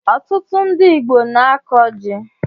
Ọtụtụ ndị Igbo na-akọ ji